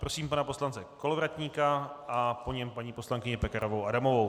Prosím pana poslance Kolovratníka a po něm paní poslankyni Pekarovou Adamovou.